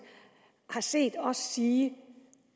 har set os sige